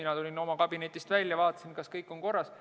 Ma tulin oma kabinetist välja, vaatasin, kas kõik on korras.